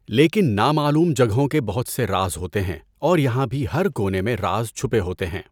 لیکن نامعلوم جگہوں کے بہت سے راز ہوتے ہیں اور یہاں بھی ہر کونے میں راز چھپے ہوتے ہیں۔